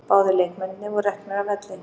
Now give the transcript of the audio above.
Báðir leikmennirnir voru reknir af velli